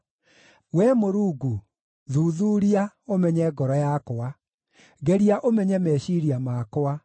Wee Mũrungu, thuthuuria, ũmenye ngoro yakwa; ngeria ũmenye meciiria makwa.